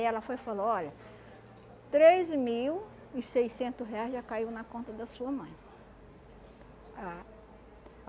ela foi e falou, olha, três mil e seiscentos reais já caiu na conta da sua mãe. Ah